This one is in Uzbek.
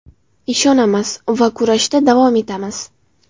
Ishonamiz va kurashda davom etamiz.